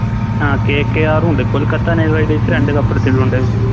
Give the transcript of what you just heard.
ആ KKR ഉണ്ട് Kolkata knight riders രണ്ട് Cup എടുത്തിട്ടുണ്ട്